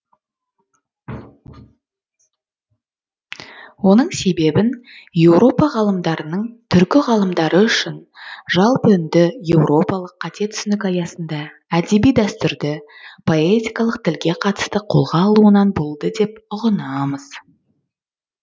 оның себебін еуропа ғалымдарының түркі ғалымдары үшін жалпыүнді еуропалық қате түсінік аясында әдеби дәстүрді поэтикалық тілге қатысты қолға алуынан болды деп ұғынамыз